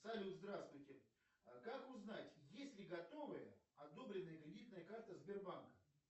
салют здравствуйте как узнать есть ли готовые одобренные кредитные карты сбербанка